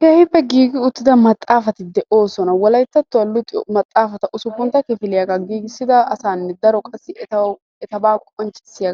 keehippe giigi uttida maxcaafati de'oosona. wolayttattuwa luxxiyo maxaafaa giigissida asatubaa qonccissiya